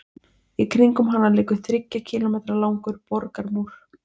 Í kringum hana liggur þriggja kílómetra langur borgarmúr.